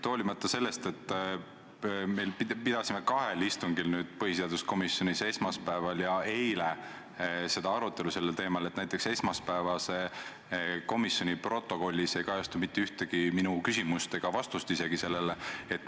Hoolimata sellest, et me arutasime seda teemat kahel põhiseaduskomisjoni istungil – esmaspäeval ja eile –, ei kajastu näiteks esmaspäevase istungi protokollis mitte ühtegi minu küsimust ega isegi mitte neile antud vastused.